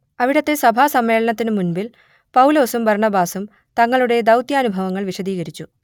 അവിടത്തെ സഭാസമ്മേളനത്തിന് മുൻപിൽ പൗലോസും ബർണ്ണബാസും തങ്ങളുടെ ദൗത്യാനുഭവങ്ങൾ വിശദീകരിച്ചു